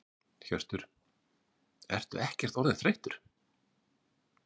Hjörtur: Ertu ekkert orðinn þreyttur?